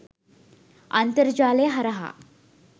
අන්තර්ජාලය හරහා